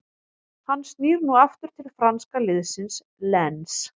Hann snýr nú aftur til franska liðsins Lens.